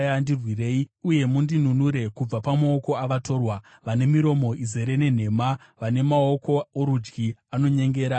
Ndirwirei uye mundinunure kubva pamaoko avatorwa, vane miromo izere nenhema, vane maoko orudyi anonyengera.